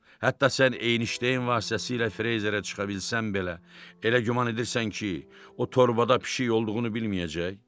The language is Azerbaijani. Hətta sən eynişdəyin vasitəsilə freyzerə çıxa bilsən belə, elə güman edirsən ki, o torbada pişik olduğunu bilməyəcək?